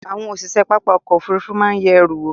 àwọn osise papá ọ̀kọ̀ ofúrúfú maa ye eru wo